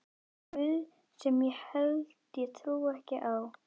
guð sem ég held ég trúi ekki á.